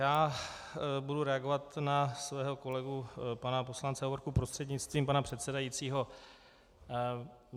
Já budu reagovat na svého kolegu pana poslance Hovorku prostřednictvím pana předsedajícího.